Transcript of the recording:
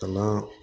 Ka na